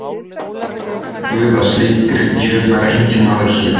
Og það veit guð að slíkri gjöf fær enginn maður skilað.